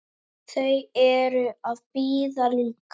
Þau eru að bíða líka.